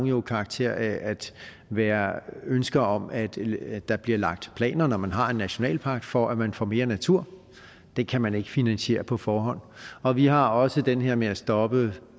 jo karakter af at være ønske om at der bliver lagt planer når man har en nationalpark for at man får mere natur det kan man ikke finansiere på forhånd og vi har også den her med at stoppe